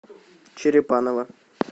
черепаново